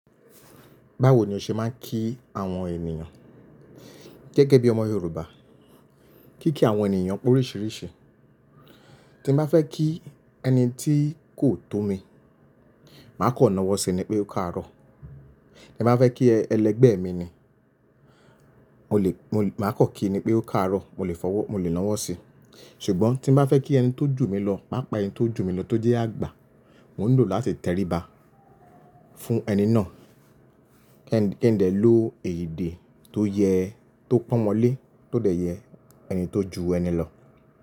Báwo ni o ṣe máa ń kí àwọn ènìyàn gẹ́gẹ́ bí ọmọ Yorùbá? Kíkí àwọn ènìyàn pé oríṣìíríṣìí. Tí mo bá fẹ́ kí ẹni tí kò tó mi, màá kan náwọ́ sí ní pé ó káàárọ̀. Tí mo bá fẹ́ kí ẹlẹgbẹ́ mi ni, mo lè, mo lè, màá kọ̀ kí i ní pé ó káàárọ̀, mo lè fọwọ́, mo lè náwọ́ sí i. Ṣùgbọ́n tí mo bá fẹ́ kí ẹni tó jù mí lọ, pá pa ẹni tó jù mí lọ tó jẹ́ àgbà, mò ni lò láti tẹríba fún ẹni náà. Kí n dẹ ló èdé tó yẹ, tó pọ̀nmọ́ lé, tó dẹ̀ yẹ ẹni tó ju ẹni lọ.